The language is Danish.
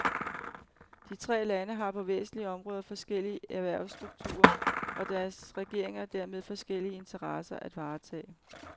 De tre lande har på væsentlige områder forskellig erhvervsstruktur, og deres regeringer dermed forskellige interesser at varetage.